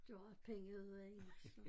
Det var også penge i så